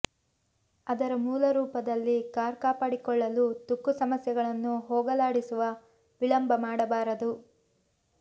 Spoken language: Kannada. ಅದರ ಮೂಲ ರೂಪದಲ್ಲಿ ಕಾರ್ ಕಾಪಾಡಿಕೊಳ್ಳಲು ತುಕ್ಕು ಸಮಸ್ಯೆಗಳನ್ನು ಹೋಗಲಾಡಿಸುವ ವಿಳಂಬ ಮಾಡಬಾರದು